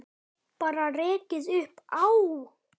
Bara rekið upp Á!